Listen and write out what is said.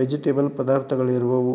Vegetable ಪದಾರ್ಥಗಳು ಇರುವವು.